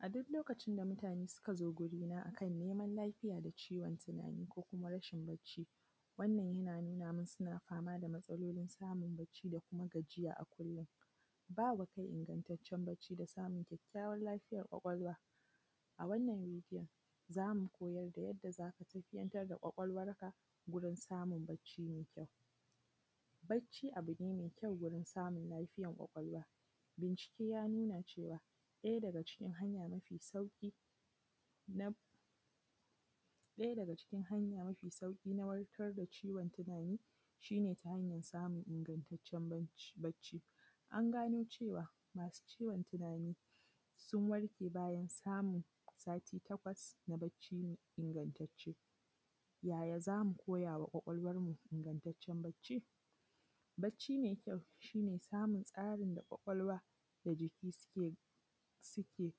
A duk lokacin da mutane suka zo wurina akan neman lafiya da ciwon tunanin, ko kuma rashin barci, wannan yana nuna min suna fama da matsalolin samun barci da kuma gajiya a kullum. Bawa kai ingantaccen barci da samun kyakkyawan lafiyar ƙwalƙwalwa. A wannan bidiyon za mu koyar da yadda zaka tafiyantar da ƙwaƙwalwarka gurin samun barci mai kyau. Barci abu ne mai kya wajen samun lafiyar ƙwaƙwalwa, bincike ya nuna cewa ɗaya daga cikin hanya mafi sauƙi na, ɗaya daga cikin hanya mafi sauƙi na warkar da ciwon tunanin shi ne ta hanyar samun ingantaccen barci, an gano cewa masu ciwon tunani sun warke bayan samun sati takwas suna barci ingantacce. Yaya zamu koyama ƙwaƙwalwarmu ingantaccen barci? Barci mai kyau shi ne samun tsarin da ƙwaƙwalwa da jiki suke, suke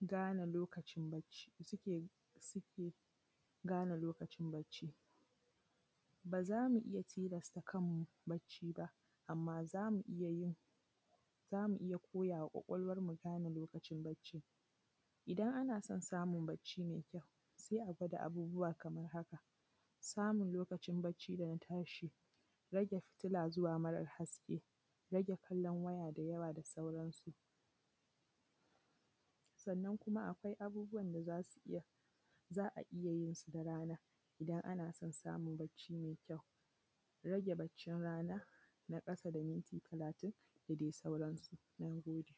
gane lokacin barci, suke suke gane lokacin barci, ba za mu iya tilasta kanmu barci ba, amma zamu iya yin, zamu iya koyama ƙwaƙwalwarmu gane barcin. Idan ana son barci mai kyau sai a gwada abubuwa kaman haka: Samun lokacin barci dana tashi, rage fitila zuwa marar haske, rage kallon waya da yawa da sauransu. Sannan kuma akwai abubuwa da zasu iya, za a iya yinsu da rana, Idan ana son samun barci mai kyau, rage barcin rana na ƙasa da minti talatin. Da dai sauransu. Na gode.